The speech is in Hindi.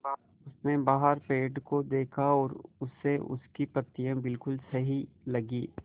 उसने बाहर पेड़ को देखा और उसे उसकी पत्तियाँ बिलकुल सही लगीं